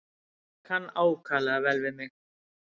Kann ákaflega vel við mig.